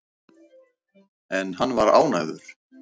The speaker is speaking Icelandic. En hann var ánægður.